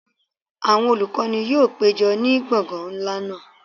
Awọn olukọni yoo pejọ ni gbọngan nla naa